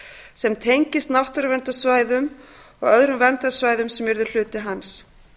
sem tengist náttúruverndarsvæðum og öðrum verndarsvæðum sem yrðu hluti hans